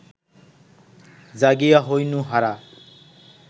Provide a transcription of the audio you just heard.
জাগিয়া হইনু হারা